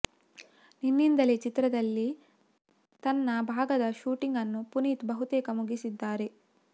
ನಿನ್ನಿಂದಲೇ ಚಿತ್ರದಲ್ಲಿ ತನ್ನ ಭಾಗದ ಶೂಟಿಂಗ್ ಅನ್ನು ಪುನೀತ್ ಬಹುತೇಕ ಮುಗಿಸಿದ್ದಾರೆ